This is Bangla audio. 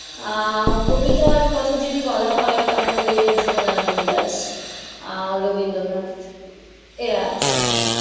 আহ কবিতার কথা যদি বলা হয় তাহলে জীবনানন্দ দাস আর রবীন্দ্রনাথ এরা আছে,